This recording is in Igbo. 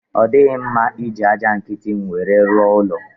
Ọ dighị mma iji aja nkiti nwere rụọ ụlọ